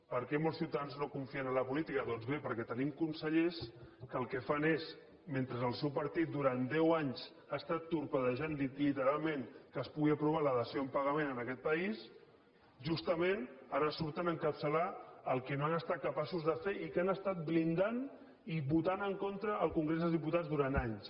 per què molts ciutadans no confien en la política doncs bé perquè tenim consellers que el que fan és mentre el seu partit durant deu anys ha estat torpedinant literalment que es pugui aprovar la dació en pagament en aquest país justament ara surten a encapçalar el que no han estat capaços de fer i que han estat blindant i votant en contra al congrés dels diputats durant anys